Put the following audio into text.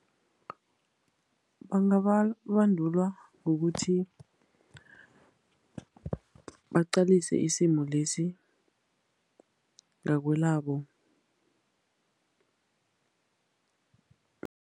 Bangabandulwa ngokuthi baqalise isimo lesi ngakwelabo.